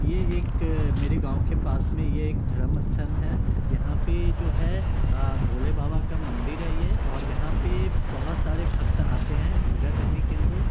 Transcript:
ये एक मेरे गाँव के पास में ये एक धर्मस्थल है| यहाँ पे जो है अ भोलेबाबा का मंदिर है ये और यहाँ पे बहोत सारे भक्त आते हैं पूजा करने के लिए--